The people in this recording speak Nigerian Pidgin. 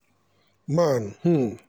nan um